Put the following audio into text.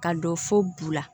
Ka don fo bo la